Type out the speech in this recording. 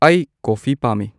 ꯑꯩ ꯀꯣꯐꯤ ꯄꯥꯝꯃꯤ